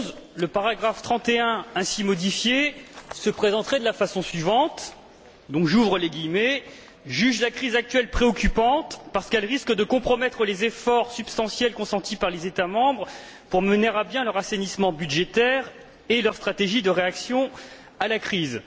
11. Le paragraphe 31, ainsi modifié, se présenterait de la façon suivante juge la crise actuelle préoccupante parce qu'elle risque de compromettre les efforts substantiels consentis par les États membres pour mener à bien leur assainissement budgétaire et leur stratégie de réaction à la crise